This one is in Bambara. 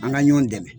An ka ɲɔn dɛmɛ